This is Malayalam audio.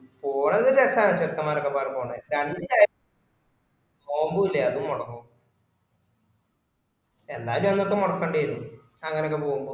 പോണത് രസാണ് ചെക്കന്‌മാരൊക്കെപാടെ പോണേ രണ്ട് നോമ്പു ഇല്ലേ അതു മൊടങ്ങു എന്താലു അന്ന് ഇപ്പൊ മൊടക്കണ്ടി വരൂ അങ്ങനൊക്കെ പോവുമ്പോ